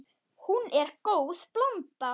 Hún er góð blanda.